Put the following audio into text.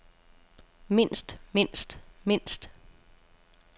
mindst mindst mindst